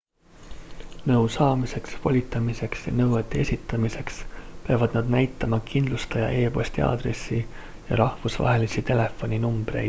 nõu saamiseks / volitamiseks ja nõuete esitamiseks peavad nad näitama kindlustaja e-posti aadressi ja rahvusvahelisi telefoninumbreid